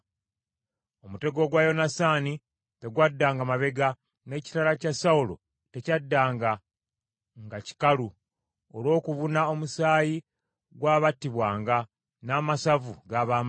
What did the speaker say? Omutego gwa Yonasaani tegwaddanga mabega n’ekitala kya Sawulo tekyaddanga nga kikalu, olw’okubuna omusaayi gw’abattibwanga, n’amasavu g’ab’amaanyi.